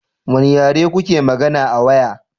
Wane yare kuke magana a waya?